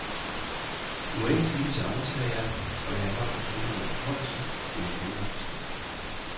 I må ikke sige det til andre, sagde jeg og lagde en hånd på skulderen af den højeste, men jeg kender resultatet.